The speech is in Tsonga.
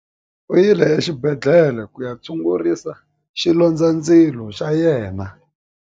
U yile exibedhlele ku ya tshungurisa xilondzandzilo xa yena.